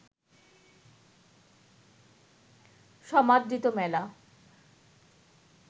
সমাদৃত মেলা